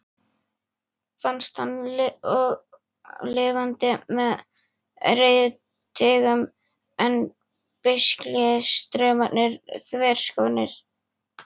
Fannst hann og lifandi með reiðtygjum en beislistaumarnir þverskornir.